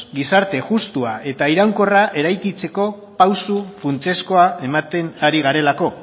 gizarte justua eta iraunkorra eraikitzeko pausu funtsezkoa ematen ari garelako